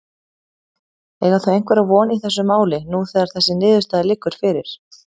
Eiga þau einhverja von í þessu máli nú þegar þessi niðurstaða liggur fyrir?